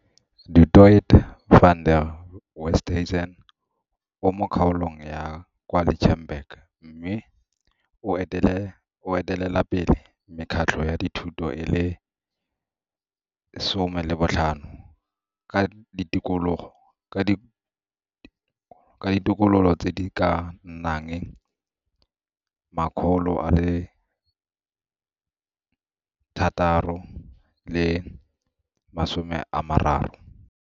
Du Toit van der Westhuizen o mo kgaolong ya kwa Lichtenburg mme o etelelapele mekgatlho ya dithuto e le 15 ka ditokololo tse di ka nnang 630.